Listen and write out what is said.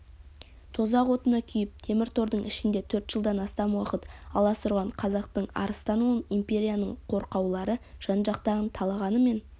тозақ отына күйіп темір тордың ішінде төрт жылдан астам уақыт аласұрған қазақтың арыстан ұлын империяның қорқаулары жан-жақтан талағанымен